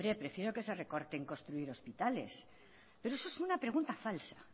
prefiero que se recorte construir hospitales pero eso es una pregunta falsa